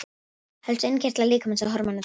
Helstu innkirtlar líkamans og hormón þeirra.